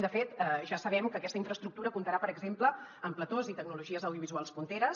de fet ja sabem que aquesta infraestructura comptarà per exemple amb platós i tecnologies audiovisuals punteres